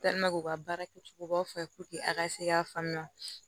u ka baara kɛcogo baw f'a ye a ka se k'a faamuya